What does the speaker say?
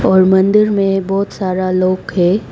और मंदिर में बहोत सारा लोग है।